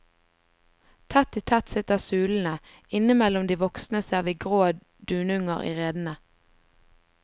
Tett i tett sitter sulene, innimellom de voksne ser vi grå dununger i redene.